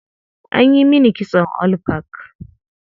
An yi mini kitson all back.